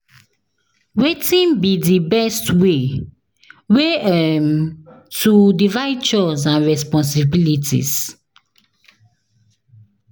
Wetin be di best way way um to divide chores and responsibilities?